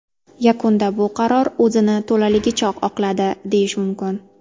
Yakunda bu qaror o‘zini to‘laligicha oqladi, deyish mumkin.